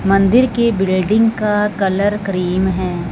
मंदिर की बिल्डिंग का कलर क्रीम है।